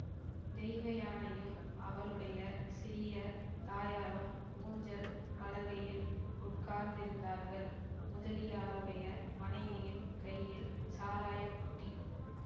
தெய்வயானையும் அவளுடைய சிறிய தாயாரும் ஊஞ்சல் பலகையில் உட்கார்ந்திருந்தார்கள் முதலியாருடைய மனைவியின் கையில் சாராயபுட்டி